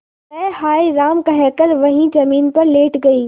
वह हाय राम कहकर वहीं जमीन पर लेट गई